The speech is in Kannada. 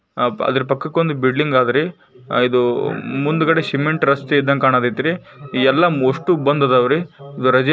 ಅದ್ರ ಪಕ್ಕದೊಂದು ಬಿಲ್ಡಿಂಗ್ ಆದ್ರೀ ಇದು ಮುಂದ್ಗಡೆ ಸಿಮೆಂಟ್ ರಸ್ತೆ ಇದ್ದಂಗ್ ಕಾನಕ್ಕತ್ತಾಯಿತ್ರೀ ಈ ಎಲ್ಲ ಮೋಸ್ಟ್ ಬಂದ್ ಅದಾವ್ರಿ